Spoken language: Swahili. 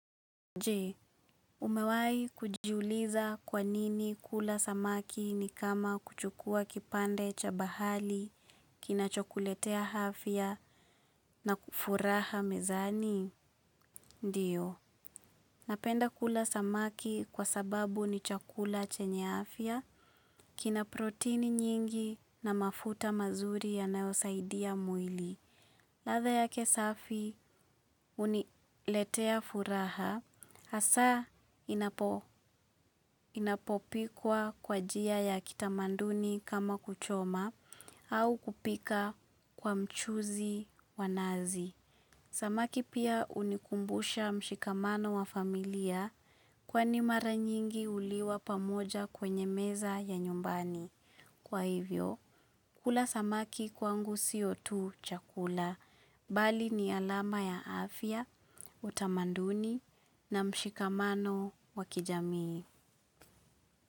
Je, umewai kujiuliza kwanini kula samaki ni kama kuchukua kipande cha bahali, kina chokuletea hafya na kufuraha mezani? Ndiyo. Napenda kula samaki kwa sababu ni chakula chenya hafya, kina proteini nyingi na mafuta mazuri yanaosaidia mwili. Latha yake safi uniletea furaha hasa inapopikwa kwa jia ya kitamanduni kama kuchoma au kupika kwa mchuzi wanazi. Samaki pia unikumbusha mshikamano wa familia kwani mara nyingi uliwa pamoja kwenye meza ya nyumbani. Kwa hivyo kula samaki kwangu sio tu chakula bali ni alama ya afya utamanduni na mshikamano wa kijamii.